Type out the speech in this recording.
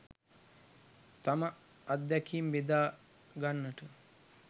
තම අත්දැකීම් බෙදා ගන්නට